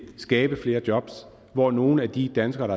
skabe flere jobs hvor nogle af de danskere